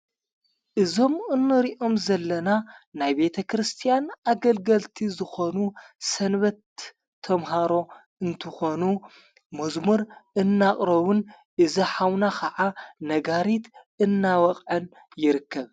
እዞም እነሪኦም ዘለና ናይ ቤተ ክርስቲያን ኣገልገልቲ ዝኾኑ ሰንበት ተምሃሮ እንትኾኑ መዝሙር እናቕረዉን እዝኃውና ኸዓ ነጋሪት እናወቕዐን ይርክብ።